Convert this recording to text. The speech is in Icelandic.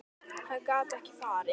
Hann gat ekki farið.